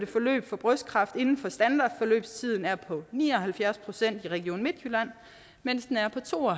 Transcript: forløb for brystkræft inden for en standardforløbstid er på ni og halvfjerds procent i region midtjylland mens den er på to og